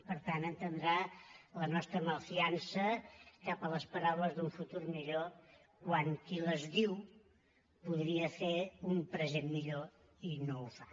per tant entendrà la nostra malfiança cap a les paraules d’un futur millor quan qui les diu podria fer un present millor i no el fa